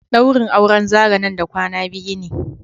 daurin auren Zarah nan da kwana biyu ne.